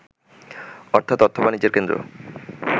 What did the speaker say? অর্থাৎ অর্থ-বাণিজ্যের কেন্দ্র